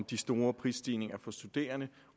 de store prisstigninger for studerende